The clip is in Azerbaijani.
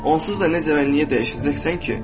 Onsuz da necə və niyə dəyişəcəksən ki?